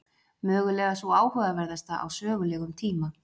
Mögulega sú áhugaverðasta á sögulegum tíma.